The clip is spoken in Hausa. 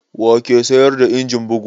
Wa ke sayar da injin bugu?